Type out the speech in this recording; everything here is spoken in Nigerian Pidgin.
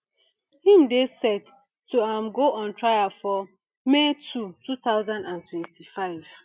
im dey set to um go on trial for may two thousand and twenty-five